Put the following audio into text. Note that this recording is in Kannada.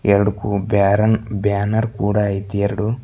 ಎರಡುಕು ಬ್ಯಾರನ್ ಬ್ಯಾನರ್ ಕೂಡ ಐತಿ ಎರಡು.